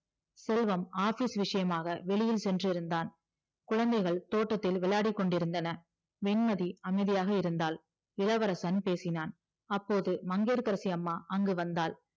செல்வம் business விஷயமாக வெளியில் சென்றிருந்தான் குழந்தைகள் தோட்டத்தில் விளையாடி கொண்டிருந்தன வெண்மதி அமைதியாக இருந்தால் இளவரசன் பேசினான் அப்போது மங்கையகரசி அம்மா அங்கு வந்தால்